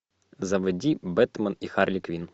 заводи бэтмен и харли квинн